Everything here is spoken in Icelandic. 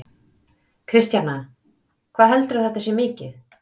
Kristjana: Hvað heldurðu að þetta sé mikið?